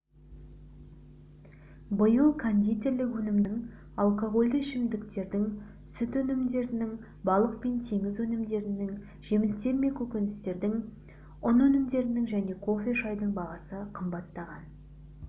биыл кондитерлік өнімдердің алкогольді ішімдіктердің сүт өнімдерінің балық пен теңіз өнімдерінің жемістер мен көкөністердің ұн өнімдерінің және кофе шайдың бағасы қымбаттаған